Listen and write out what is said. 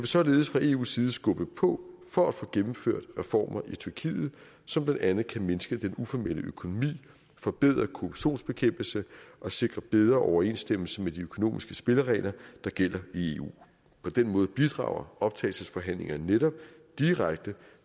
således fra eus side skubbe på for at få gennemført reformer i tyrkiet som blandt andet kan mindske den uformelle økonomi forbedre korruptionsbekæmpelsen og sikre bedre overensstemmelse med de økonomiske spilleregler der gælder i eu på den måde bidrager optagelsesforhandlingerne netop direkte